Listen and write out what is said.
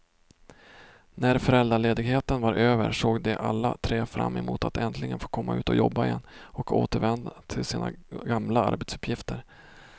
När föräldraledigheten var över såg de alla tre fram emot att äntligen få komma ut och jobba igen och återvända till sina gamla arbetsuppgifter.